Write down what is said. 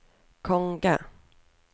konge